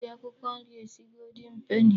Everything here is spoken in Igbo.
E ji akwụkwọ nri esi goldin peni.